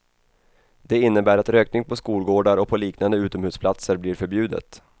Det innebär att rökning på skolgårdar och på liknande utomhusplatser blir förbjudet.